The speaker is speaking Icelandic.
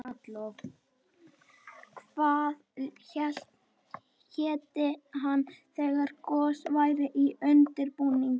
Hvað héti hann þegar gos væri í undirbúningi?